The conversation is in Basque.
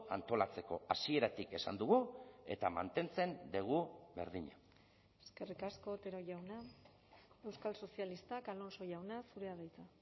antolatzeko hasieratik esan dugu eta mantentzen dugu berdina eskerrik asko otero jauna euskal sozialistak alonso jauna zurea da hitza